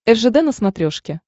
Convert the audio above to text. ржд на смотрешке